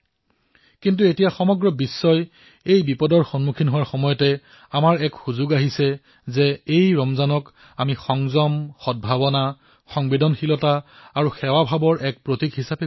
কিন্তু যেতিয়া সমগ্ৰ বিশ্বতে এই সমস্যা আহি পৰিছে গতিকে আমি এই ৰমজান সংযম সদ্ভাৱনা সংবেদনশীলতা আৰু সেৱাভাৱে পালন কৰাৰ অৱকাশ আহি পৰিছে